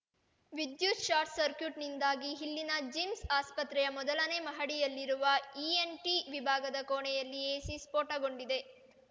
ವಿದ್ಯುತ್ short circuit ನಿಂದಾಗಿ ಇಲ್ಲಿನ ಜಿಮ್ಸ್ ಆಸ್ಪತ್ರೆಯ ಮೊದಲನೆ ಮಹಡಿಯಲ್ಲಿರುವ ಇನ್ಎನ್ಟಿ ವಿಭಾಗದ ಕೋಣೆಯಲ್ಲಿ ಎಸಿ ಸ್ಫೋಟಗೊಂಡಿದೆ